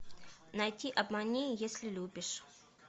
найти обмани если любишь